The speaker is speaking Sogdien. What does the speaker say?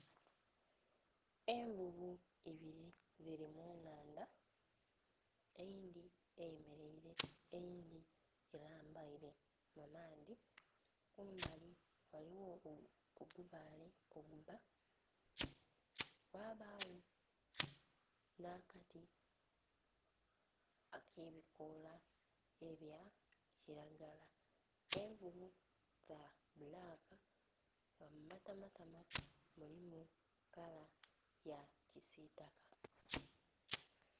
Envuvu ibili dhili mu nnhandha. Eyindhi eyemeleile eyindhi elambaile mu maadhi. Kumbali ghaligho ogubaale ogubba. Ghabagho nh'akati ak'ebikoola ebya kilagala. Envuvu dha bbulaka nga mu matamatama mulimu kala ya kisiitaka.